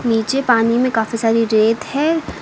नीचे पानी में काफी सारी रेत है।